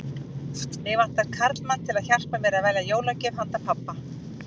Mig vantar karlmann til að hjálpa mér að velja jólagjöf handa pabba